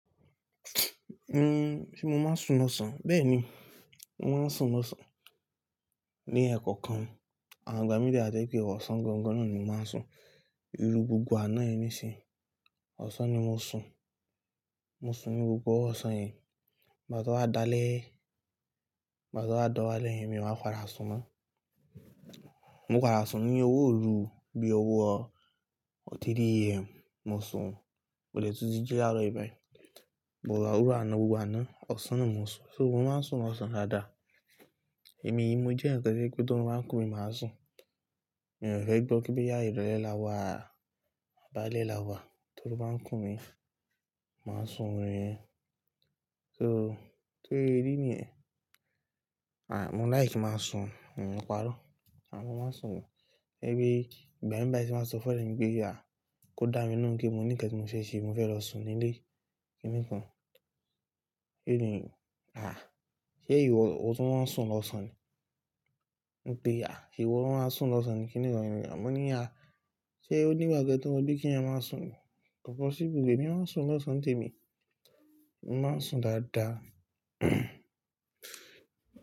Hmm, ṣe mo máa ń sùn lọ́sàn-án? Bẹ́ẹ̀ni, mo máa ń sùn lọ́sàn-án. Ni ẹ̀kọ̀ kan, àwọn àgbà míì dájẹ́ pé ọ̀sán gangan náà ni mo máa ń sùn. Lu gbogbo àná yẹn níṣe, ọ̀sán ni mo sùn. Mo sùn ní gbogbo ọ̀sán yẹn. Ìgbà á to wá dálé, ìgbà to wá dáwálé yẹn ni màá padà sùn mọ́. Mo padà sùn ní owó òru bíi owó ọtí DM mo sùn. Mò lè tún ti jí láro yìí báyìí. Òrò àná gbogbo àná, ọ̀sán ni mo sùn. So mo máa ń sùn lọ́sàn-án dáadáa. Èmi, mo jẹ́ ǹkan tí pé tí wọn bá ń kùn mí, màá sùn. Mi ò fẹ́ gbọ́ kí bí ya ìrọ̀lẹ́ lawà, àbálẹ́ lawà, tí wọn bá ń kùn mí, màá sùn wọ́n ríẹ. So tó ye rí nìyẹn. À, mo láì kí máa sùn, mi ni pàrọ́. Àmọ́ máa sùn. Ẹ pé ìgbà mìíràn tí màá sọ fún ẹ nígbèyà kò dá mi nù kí n mo níkẹ́ tí mo fẹ́ ṣe, mo fẹ́ lọ sùn nílé. Kíni kan? Kí nìyí? À, ṣé ìwọ ó tún máa ń sùn lọ́sàn-án ni? Mo pe, à, ìwọ ló máa ń sùn lọ́sàn-án ni. Kíni rọrùn rẹ̀? A mọ ní, à, ṣé o ní ìgbà kí ẹ tó mọ bí kí ẹ máa sùn ni? O see se, èmi máa ń sùn lọ́sàn-án tèmi. Mo máa ń sùn dáadáa.